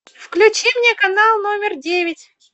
включи мне канал номер девять